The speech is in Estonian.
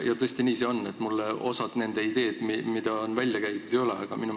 Tõesti, nii see on, mulle osa nende ideid, mis on välja käidud, ei ole meeldinud.